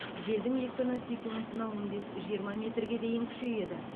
желдің екпіні секундына он бес жиырма метрге дейін күшейеді